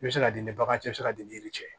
I bɛ se ka ni bagan cɛ i bɛ se ka di ni yiri cɛ ye